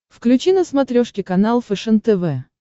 включи на смотрешке канал фэшен тв